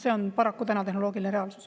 See on paraku täna tehnoloogiline reaalsus.